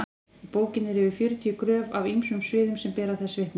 í bókinni eru yfir fjörutíu gröf af ýmsum sviðum sem bera þessu vitni